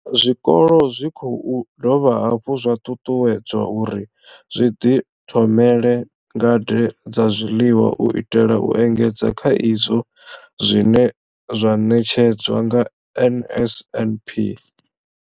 Zwikolo zwi khou dovha hafhu zwa ṱuṱuwedzwa uri zwi ḓithomele ngade dza zwiḽiwa u itela u engedza kha izwo zwine zwa ṋetshedzwa nga NSNP.